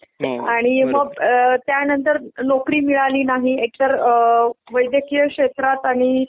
आणि मग त्यानंतर नोकरी मिळाली नाही एकतर अ वैद्यकीय क्षेत्रात आणि